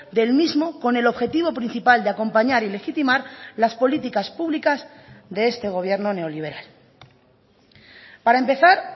del mismo con el objetivo principal de acompañar y legitimar las políticas públicas de este gobierno neoliberal para empezar